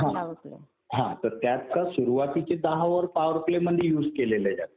हा. हा तर त्यात सुरुवातीचे दहा ओव्हर पॉवर प्ले मध्ये युज केलेले जातात.